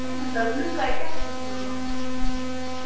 Voru þau ekki einmitt að glugga í gestaskrána?